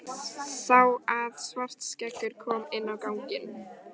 Sá að Svartskeggur kom inn á ganginn.